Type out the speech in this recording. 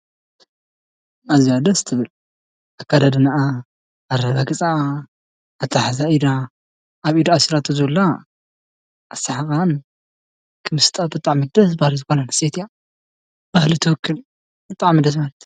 ኣዝያ ደስ ትብል ፤ኣከዳድናኣ ፣ኣረጋግፅኣ ፣ኣተሓሕዛ ኢዳ ፣ኣብ ኢዳ ኣሲራቶ ዘላ ፣ኣሳሕቃኣን ክምስጣ ብጣዕሚ ደስ በሃሊት ጓል ኣንስተይቲ እያ ባህሊ ትውክል ብጣዕሚ ደስ በሃሊት